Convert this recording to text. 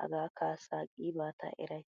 Hagaa kaasa qiiba ta erays.